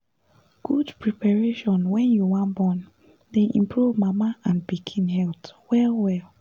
good preparation wen you wan born dey improve mama and pikin health well well